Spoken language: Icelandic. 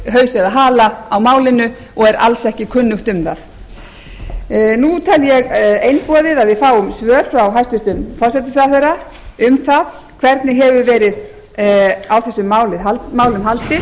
haus eða hala á málinu og er alls ekki kunnugt um það nú tel ég einboðið að við fáum svör frá hæstvirtum forsætisráðherra um það hvernig hefur verið á þessu málum haldið